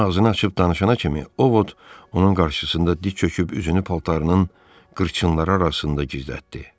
Cemma ağzını açıb danışana kimi O Vod onun qarşısında diz çöküb üzünü paltarının qırçınları arasında gizlətdi.